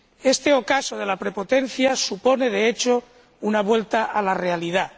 Este ocaso de la prepotencia supone, de hecho, una vuelta a la realidad.